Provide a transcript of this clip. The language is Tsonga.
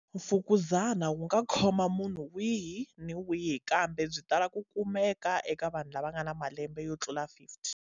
Mfukuzana wu nga khoma munhu wihi ni wihi, kambe byi tala ku kumeka eka vanhu lava nga na malembe yo tlula 50.